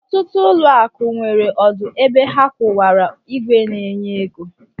Ọtụtụ ụlọakụ nwere ọdụ ebe ha kwụwara ìgwè na-enye ego